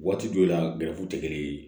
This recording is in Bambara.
Waati dɔ la tɛ kelen ye